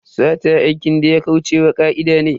Sata aikin da ya kauce wa ka'ida ne.